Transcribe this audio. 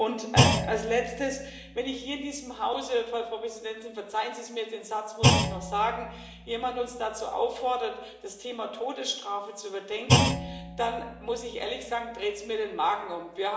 Und als Letztes Wenn uns hier in diesem Hause Frau Präsidentin, verzeihen Sie es mir, den Satz muss ich noch sagen jemand dazu auffordert, das Thema Todesstrafe zu überdenken, dann muss ich ehrlich sagen, dreht es mir den Magen um.